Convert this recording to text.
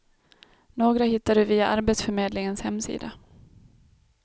Några hittar du via arbetsförmedlingens hemsida.